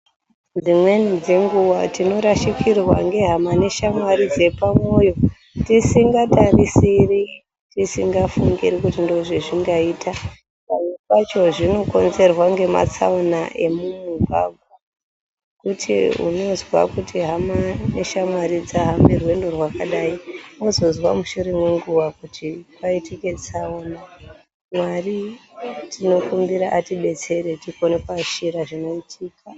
Dzimweni dzenguwa tinorashikirwa ngehama neshamwari dzepamwoyo tisingatarisiri, tisingafungiri kuti ndozvazvingaita. Pamwe pacho zvinokonzerwa ngematsaona emumugwagwa. Kuti unozwa hama neshamwari dzahambe rwendo rwakadai wozozwa mushure mwenguwa kuti paitika tsaona. Mwari tinokumbira atibetsere tikone kuitika.